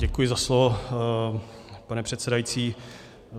Děkuji za slovo, pane předsedající.